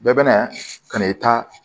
Bɛɛ bɛna kan'i ta